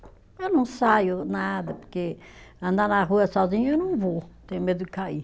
Eu não saio nada, porque andar na rua sozinha eu não vou, tenho medo de cair.